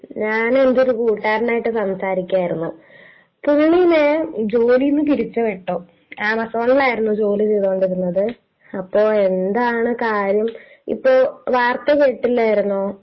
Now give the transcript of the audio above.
ഞാന്, എന്റെ ഒരു കൂട്ടുകാരനുമായിട്ട് സംസാരിക്കുകയായിരുന്നു..പുള്ളീനെ ജോലീന്ന് പിരിച്ചുവിട്ടു. ആമസോണിലായിരുന്നു ജോലി ചെയ്തോണ്ടിരുന്നത്.അപ്പൊ....എന്താണ് കാര്യം...ഇപ്പൊ വാർത്ത കേട്ടില്ലായിരുന്നോ?